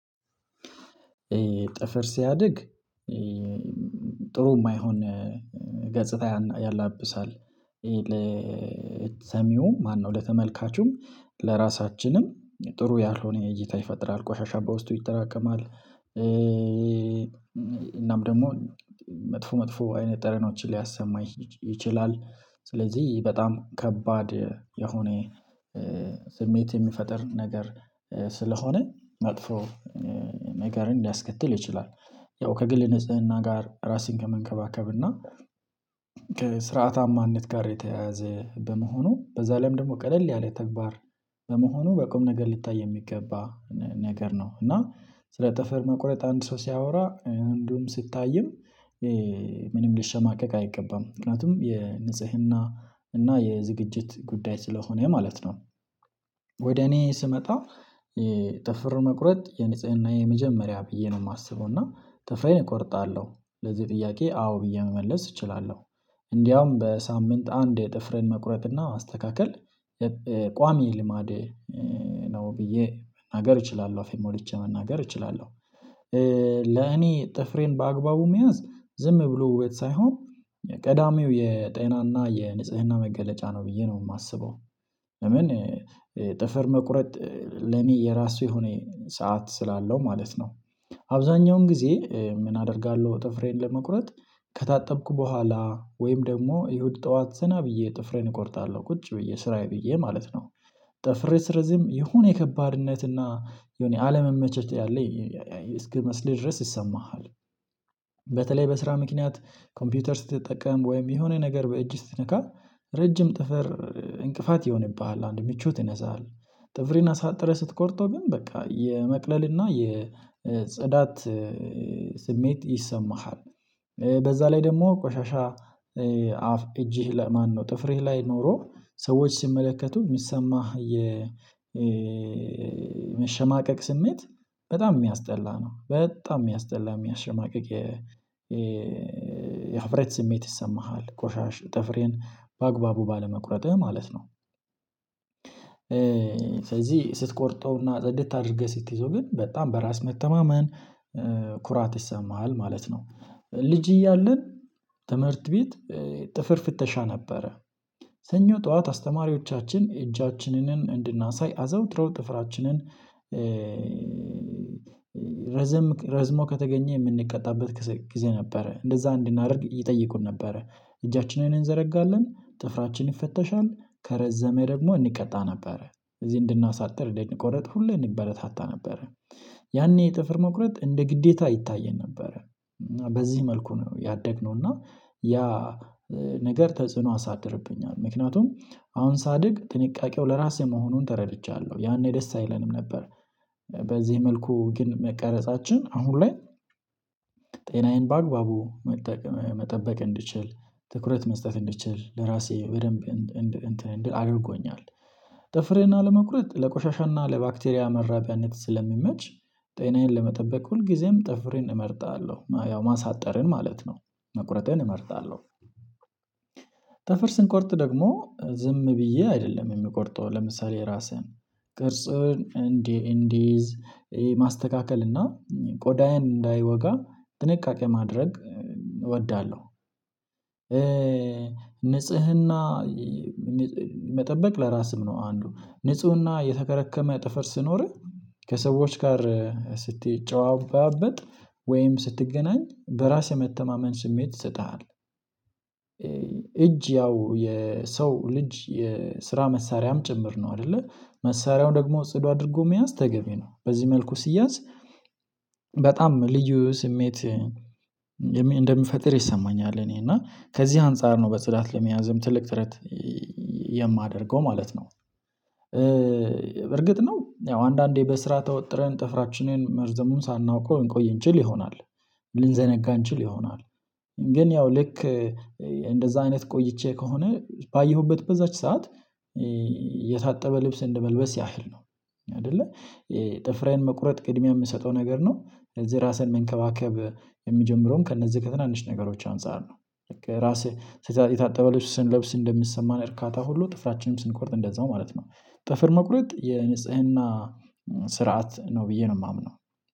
ጥፍር ሲያድግ ጥሩ የማይሆን ገጽታ ያላብሳል ለሰሚውም ማነው ለተመልካቹም ለራሳችንም ጥሩ ያልሆነ እይታ ይፈጥራል ቆሻሻ በውስጡ ይጠራቀማል። እናም ደግሞ መጥፎ መጥፎ አይነት ጠረኖችን ሊያሰማ ይችላል። ስለዚህ በጣም ከባድ የሆነ ስሜት የሚፈጥር ነገር ስለሆነ መጥፎ ነገርን ሊያስከትል ይችላል። ያው ከግል ንጽህና ጋር ራስን ከመንከባከብ እና ከስርዓታማነት ጋር የተያያዘ በመሆኑ በዛ ላይም ደግሞ ቀለል ያለ ተግባር በመሆኑ በቁም ነገር ሊታይ የሚገባ ነገር ነው። እና ስለ ጥፍር መቁረጥ አንድ ሰው ሲያወራ እንዲሁም ሲታይም ምንም ሊሸማቀቅ አይገባም ምክንያቱም የንጽህና እና የዝግጅት ጉዳይ ስለሆነ ማለት ነው። ወደ እኔ ስመጣ ጥፍር መቁረጥ የንጽህና የመጀመሪያ ብዬ ነው የማስበው እና ጥፍሬን እቆርጣለሁ ለዚህ ጥያቄ አዎ ብዬ መመለስ እችላለሁ። እንዲያውም በሳምንት አንዴ ጥፍርን መቁረጥና ማስተካከል ቋሚ ልማዴ ነው ብዬ መናገር እችላለሁ አፌን ሞልች መናገር እችላለሁ። ለኔ ጥፍሬን በአግባቡ መያዝ ዝም ብሎ ውበት ሳይሆን ቀዳሚው የጤናና የንጽህና መገለጫ ነው ብዬ ነው የማስበው። ለምን ጥፍር መቁረጥ ለኔ የራሱ የሆነ ሰዓት ስላለው ማለት ነው። አብዛኛውን ጊዜ ምን አደርጋለሁ ጥፍሬን ለመቁረጥ ከታጠብኩ በኋላ ወይም ደግሞ እሁድ ጠዋት ዘና ብዬ ጥፍሬን እቆርጣለሁ ቁጭ ብዬ ስራዬ ብዬ ማለት ነው። ጠፍሬ ሲረዝም የሆነ የከባድነት እና የሆነ አለመመቸት ያለ እስኪመስል ድረስ ይሰማሃል። በተለይ በስራ ምክንያት ኮምፒውተር ስትጠቀም ወይም የሆነ ነገር በእጅ ስትነካ ረጅም ጥፈር እንቅፋት ይሆንብሃል አንድ ምቾት ይነሳሀል። ጥፍርህን አሳጥረህ ስትቆርጠው ግን በቃ የመቅለልና የጸዳት ስሜት ይሰማሃል። በዛ ላይ ደግሞ ቆሻሻ አፍ እጅህ ማነው ጥፍሬ ላይ ኖሮ ሰዎች ሲመለከቱ የሚሰማህ የመሸማቀቅ ስሜት በጣም የሚያስጠላ ነው በጣም የሚያስጠላ የሚያሸማቅቅ የ የሀፍረት ስሜት ይሰማሃል። ጥፍሬን በአግባቡ ባለመቁረጥህ ማለት ነው። ስለዚህ ስትቆርጠውና ጸድታ አድርገህ ስትይዘው ግን በጣም በራስ መተማመን ኩራት ይሰማሃል ማለት ነው። ልጅ እያለን ትምህርት ቤት ጥፍር ፍተሻ ነበረ ሰኞ ጠዋት አስተማሪዎቻችን እጃችንን እንድናሳይ አዘውትረው ጥፍራችንን ረዝሞ ከተገኘ የምንቀጣበት ጊዜ ነበረ እንደዛ እንድናደርግ ይጠይቁን ነበረ። እጃችንን እንዘረጋለን ጥፍራችን ይፈተሻል ከረዘመ ደግሞ እንቀጣ ነበረ እዚህ እንድናሳጥር እንድንቆረጥ ሁሌ እንበረታታ ነበረ። ያኔ ጥፍር መቁረጥ እንደ ግዴታ ይታየን ነበረ። በዚህ መልኩ ነው ያደግነው እና ያ ነገር ተጽዕኖ አሳድርብኛል ምክንያቱም አሁን ሳድግ ጥንቃቄው ለራሴ መሆኑን ተረድቻለሁ ያኔ ደስ አይለንም ነበር። በዚህ መልኩ ግን መቀረጻችን አሁን ላይ ጤናዬን በአግባቡ መጠበቅ እንድችል ትኩረት መስጠት እንድችል ለራሴ በደንብ እንትን እንድል አድርጎኛል። ጥፍሬን አለመቁረጥ ለቆሻሻና ለባክቴሪያ መራቢያነት ስለሚመች ጤናዬን ለመጠበቅ ሁልጊዜም ጠፍሬን እመርጣለሁ ያው ማሳጠርን ማለት ነው መቁረጥን እመርጣለሁ። ጠፍር ስንቆርጥ ደግሞ ዝም ብዬ አይደለም የሚቆርጠው ለምሳሌ ራስህን ቅርጽን እንዲይዝ ማስተካከል እና ቆዳዬን እንዳይወጋ ጥንቃቄ ማድረግ እወዳለሁ። ንጽህና መጠበቅ ለራስህ ነው አንዱ ንፁህና የተከረከመ ጥፍር ሲኖርህ ከሰዎች ጋር ስትጨባበጥ ወይም ስትገናኝ በራስ የመተማመን ስሜት ይሰጥሃል። እጅ ያው የሰው ልጅ የስራ መሳሪያም ጭምር ነው አይደለ መሳሪያው ደግሞ ጽዱ አድርጎ መያዝ ተገቢ ነው በዚህ መልኩ ሲያዝ። በጣም ልዩ ስሜት እንደሚፈጥር ይሰማኛል እኔ እና ከዚህ አንፃር ነው በጽዳት ለመያዝም ትልቅ ጥረት የማደርገው ማለት ነው። በርግጥ ነው ያው አንዳንዴ በስራ ተወጥረን ጥፍራችንን መርዘሙን ሳናውቀው እንቆይ እንችል ይሆናል ልንዘነጋ እንችል ይሆናል። ግን ያው ልክ እንደዛ አይነት ቆይቼ ከሆነ ባየሁበት በዛች ሰዓት የታጠበ ልብስ እንደመልበስ ያህል ነው አይደለ ጥፍሬን መቁረጥ ቅድሚያ የምሰጠው ነገር ነው። ስለዚህ ራሴን መንከባከብ የሚጀምረውም ከእነዚህ ተናንሽ ነገሮች አንፃር ነው። ራስህ የታጠበ ልብስ ስንለብስ እንደሚሰማን እርካታ ሁሉ ጥፍራችንም ስንቆርጥ እንደዛው ማለት ነው። ጥፍር መቁረጥ የንጽህና ስርዓት ነው ብዬ ነው የማምነው።